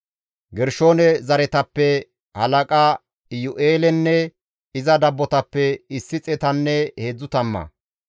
Gershoone zereththatappe halaqa Iyu7eelenne iza dabbotappe issi xeetanne heedzdzu tamma;